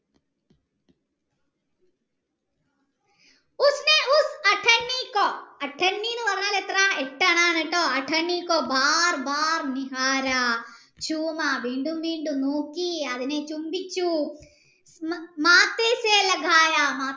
എന്നു പറഞ്ഞാൽ എത്ര എട്ടു അണ ആണ് ട്ടോ വീണ്ടും വീണ്ടും നോക്കി അതിനെ ചുംബിച്ചു